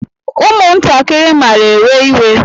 Ụmụntakịrị mara ewe-iwe.